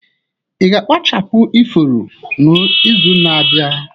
Ị ga-akpachapụ ifuru n'izu na-abịa?